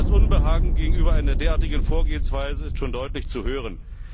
Das Unbehagen gegenüber einer derartigen Vorgehensweise ist schon deutlich zu hören.